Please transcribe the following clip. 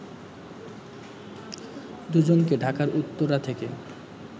দু’জনকে ঢাকার উত্তরা থেকে